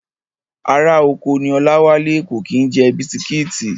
Ará oko ní Ọláwálé, kò kí ń jẹ bisitíìtì